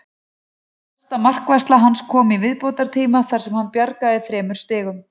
Besta markvarsla hans kom í viðbótartíma þar sem hann bjargaði þremur stigum.